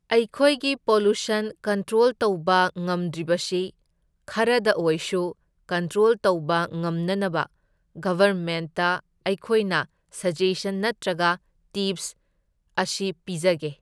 ꯑꯩꯈꯣꯏꯒꯤ pollution control ꯇꯧꯕ ꯉꯝꯗ꯭ꯔꯤꯕꯁꯤ ꯈꯔꯗ ꯑꯣꯏꯁꯨ ꯀꯟꯇ꯭ꯔꯣꯜ ꯇꯧꯕ ꯉꯝꯅꯅꯕ ꯒꯚꯔꯃꯦꯟꯠꯇ ꯑꯩꯈꯣꯏꯅ ꯁꯖꯦꯁꯟ ꯅꯠꯇ꯭ꯔꯒ ꯇꯤꯞꯁ ꯑꯁ ꯄꯤꯖꯒꯦ꯫